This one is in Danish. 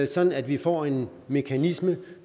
sådan at vi får en mekanisme